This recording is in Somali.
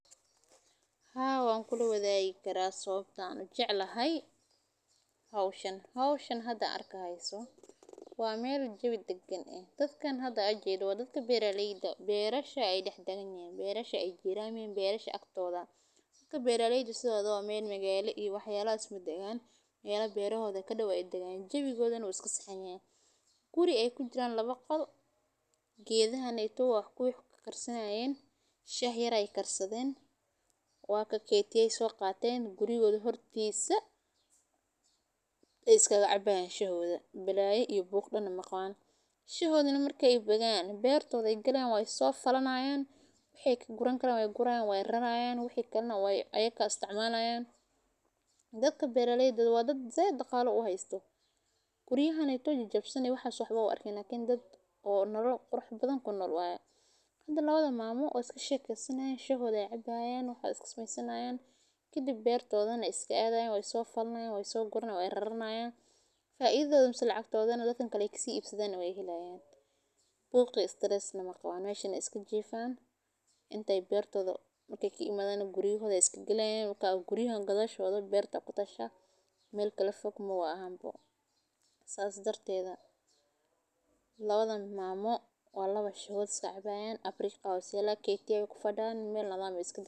Haa, wankulla wadagi karaa sababtaan u jeclahay? Hawshin hawshin hadda arkayso waameel jebi deggan ah. Dadkaan hadda ajeeydo waa dadka beerareydha, beerasha ay dhex daganyeen, beerasha ay jiiraan iyo beerasha agtooda. Ka beerareyso waa meel magaalo iyo waxyaalla isma degan iyo kale beerahooda ka dhawaan degaan. Jebiga wadanu iska saxayeen guri ay ku jiraan laba qod geedihane toba ah ku xidhi karayn. Shaahi ray karsadayn, waa ka keetiyay soo qaateen guryahooda hortiisa iskaga cabbaayaan shahooda belaya iyo booq dhanna maqaan. Shahoodna markay begaan beertooday galeen way so falanaayaan, wixii guran kala way gurayn way raraayaan. Wixii kalena way ayagga isticmaalayaan. Dadka beerareydhdoodu waa dad saydqaalo u haysto guriyuhani togi jab sameeyay waxa soxobow arkin in dad oo nolol qurxin badan ku noro. Hadda loodo maamo u iska sheeg karsanayn shahooda cabbaayaan waxaad iska smaysanayaan. Ki dib beertoodana iska aadayaan way so falnaayn way, so gorayn way raraynaayeen. Faaiiddooduna cagta hore dadin kale ikkisi ii ibsadayn way hilayaan. Booq stress na maqaan way shan iska jiifan intay beertooda la kiimaadano guryahooda iska gelayn. Guriyuhun gadooshooda beerta kutashada meel kala fog moowa ahaanbo saas darteeda. La wadan maamo waa laba shahood iska cabbaayaan. Abriic aysan keentee ku fadahan meel lalaam iska baxsan.